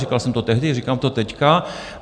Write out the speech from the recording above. Říkal jsem to tehdy, říkám to teď.